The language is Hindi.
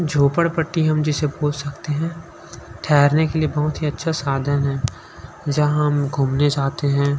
झोपड़पट्टी हम जिसे बोल सकते है ठहरने के लिए बहुत ही अच्छा साधन है जहाँ हम घूमने जाते हैं।